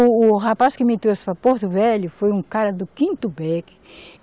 O, o rapaz que me trouxe para Porto Velho foi um cara do quinto